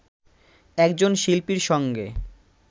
একজন শিল্পীর সঙ্গে